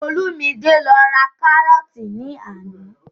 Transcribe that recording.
Olúmidé lọ ra kárọ́ọ̀tì ní àná